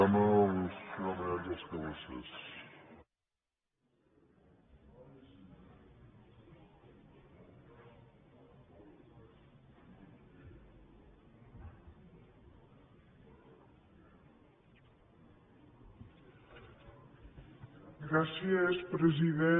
gràcies president